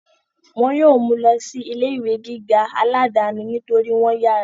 wọn yóò mú u lọ sí ilé ìwé gíga aláàdáni nítorí wọ́n yára